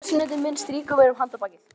Sessunautur minn strýkur mér um handarbakið.